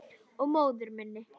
Og móður minni.